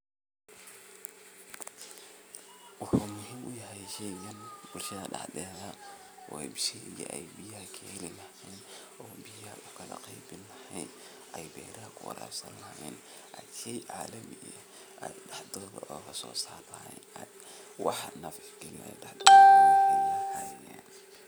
Waxa muhim uyahay sheygan bulshadha daxdetha oy mishinka ay biyaha kaheli oo biyaha ukala qeybiyahen ay beeraha kuwarabsadhan wa sheey calimi ah daxdodha ogasosara wax nafci gilin yahay